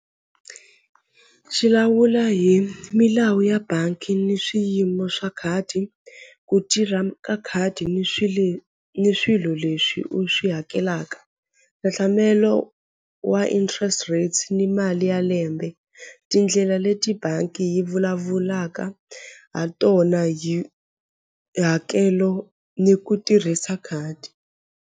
Xi lawula hi milawu ya bangi ni swiyimo swa khadi ku tirha ka khadi ni ni swilo leswi u swi hakelaka hlahlamelo wa interest rates ni mali ya lembe tindlela leti bangi yi vulavulaka ha tona hi hakelo ni ku tirhisa khadi.